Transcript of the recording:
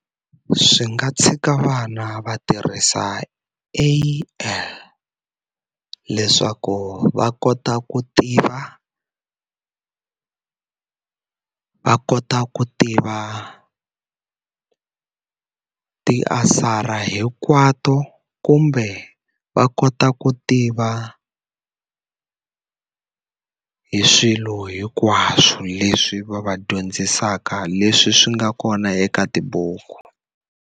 Swi nga tshika vana va tirhisa leswaku va kota ku tiva va kota ku tiva ti-answer-a hinkwato kumbe va kota ku tiva hi swilo hinkwaswo leswi va va dyondzisaka leswi swi nga kona eka tibuku.